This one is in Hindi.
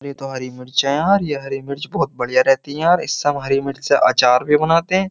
हरी मिर्चा यार ये हरी मिर्च बहुत बढ़िया रहती है यार इससे हम हरी मिर्च से अचार भी बनाते हैं।